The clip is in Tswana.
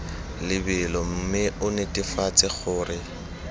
lebelo mme o netefatse gore